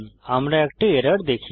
আমরা একটি এরর দেখি